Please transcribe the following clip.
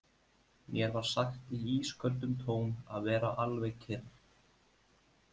Mér var sagt í ísköldum tón að vera alveg kyrr.